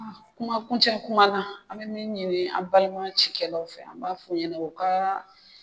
Kuma kuncɛ kuma na an bɛ min ɲini an balima cikɛlaw fɛ an b'a fɔ ɲɛna u ka